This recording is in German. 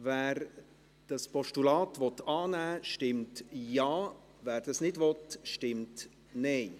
Wer dieses Postulat annehmen will, stimmt Ja, wer das nicht will, stimmt Nein.